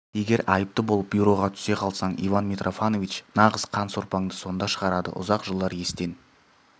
егер айыпты болып бюроға түсе қалсаң иван митрофанович нағыз қан сорпаңды сонда шығарады ұзақ жылдар естен